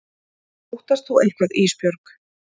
Óttast þú eitthvað Ísbjörg?